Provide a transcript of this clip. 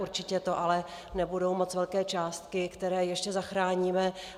Určitě to ale nebudou moc velké částky, které ještě zachráníme.